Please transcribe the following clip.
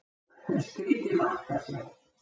Skrýtið mark að sjá.